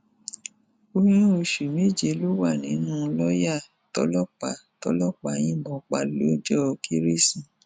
oyún oṣù méje ló wà nínú lọọyà tọlọpàá tọlọpàá yìnbọn pa lọjọ kérésì